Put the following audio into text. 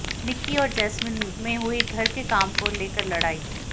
निक्की और जैस्मिन में हुई घर के काम को लेकर लड़ाई